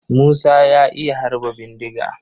Musa ya iya harba bindiga.